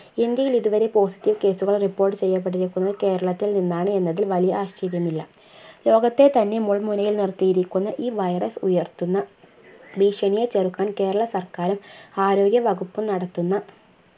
ഇന്ത്യയിൽ ഇതുവരെ positive case കൾ report ചെയ്യപ്പെട്ടിരിക്കുന്നത് കേരളത്തിൽനിന്നാണ് എന്നതിൽ വലിയ ആശ്ചര്യം ഇല്ല. ലോകത്തെത്തന്നെ മുൾമുനയിൽ നിർത്തിയിരിക്കുന്ന ഈ virus ഉയർത്തുന്ന ഭീഷണിയെ ചെറുക്കാൻ കേരളസർക്കാരും ആരോഗ്യവകുപ്പും നടത്തുന്ന